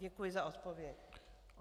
Děkuji za odpověď.